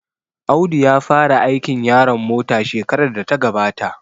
Audu ya fara aikin yaron mota shekarar da ta gabata